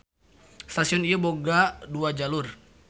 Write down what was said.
Stasion ieu boga dua jalur.